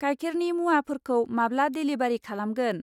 गायखेरनि मुवाफोरखौ माब्ला डेलिबारि खालामगोन?